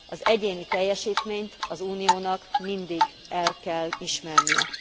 Az egyéni teljesítményt az Uniónak mindig el kell ismernie.